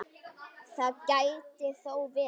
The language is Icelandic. Það gæti þó verið.